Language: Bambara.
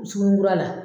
Sugunura la